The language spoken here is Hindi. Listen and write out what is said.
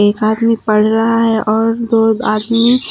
एक आदमी पढ़ रहा है और दो आदमी--